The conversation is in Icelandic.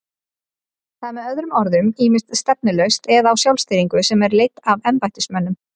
Það er með öðrum orðum ýmist stefnulaust eða á sjálfstýringu sem er leidd af embættismönnum.